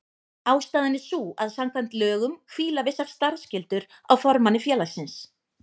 Ástæðan er sú að samkvæmt lögum hvíla vissar starfsskyldur á formanni félagsins.